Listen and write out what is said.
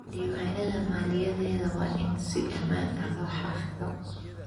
Diiwaanada maaliyadeed waa in si ammaan ah loo xafidaa.